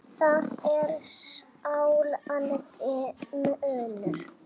Það er sláandi munur.